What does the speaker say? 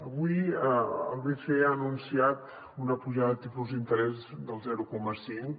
avui el bce ha anunciat una pujada de tipus d’interès del zero coma cinc